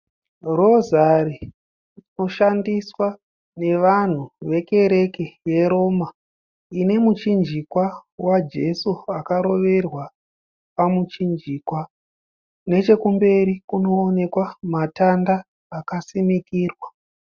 Rozari rinoshandiswa nevanhu vekereke yeRoma ine muchinjikwa waJesu akaroverwa pamuchinjikwa. Nechekumberi kunoonekwa matanda akasinikirwa.